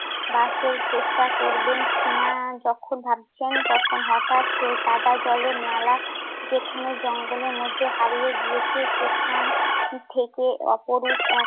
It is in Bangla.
বাসের চেষ্টা করবেন কিনা যখন ভাবছেন তখন সেই কাদা-জলের নালা যেখানে জঙ্গলের মধ্যে হারিয়ে গিয়েছে সেখান থেকে অপরূপ এক